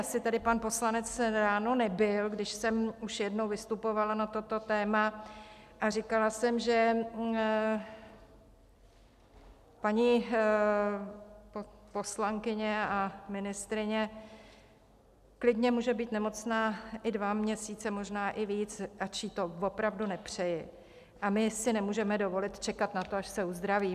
Asi tady pan poslanec ráno nebyl, když jsem už jednou vystupovala na toto téma a říkala jsem, že paní poslankyně a ministryně klidně může být nemocná i dva měsíce, možná i víc, ač jí to opravdu nepřeju, a my si nemůžeme dovolit čekat na to, až se uzdraví.